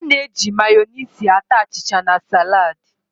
A na-eji Mayoniisị ata achịcha na salad